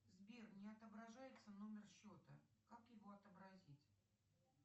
сбер не отображается номер счета как его отобразить